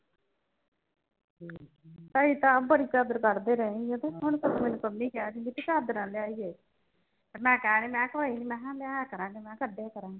ਅਸੀਂ ਤਾ ਅੱਪ ਬੜੀ ਚਾਦਰ ਕੱਢਦੇ ਰਹੇ ਆ ਹੁਣ ਮੈਨੂੰ ਪੰਮੀ ਕਹਿ ਰਹੀ ਸੀ ਦੀਦੀ ਚਾਦਰ ਲੈ ਆਈਏ ਮੈਂ ਕਿਹਾ ਕੋਈ ਨੀ ਲਿਆਇਆ ਕਰਾਂਗੇ ਕੱਡਿਆ ਕਰਾਂਗੇ।